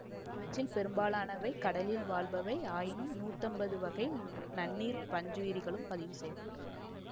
இவற்றில் பெரும்பாலானவை கடலில் வாழ்பவை ஆயினும் நூத்தைம்பது வகை நன்னீர்ப்பஞ்சுயிரிகளும் பதிவுசெய்யப்பட்டுள்ளன